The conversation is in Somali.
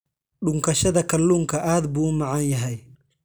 Dhunkashada kalluunka aad buu u macaan yahay.